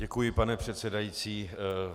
Děkuji, pane předsedající.